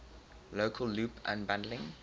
local loop unbundling